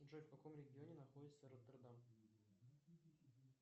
джой в каком регионе находится ротердам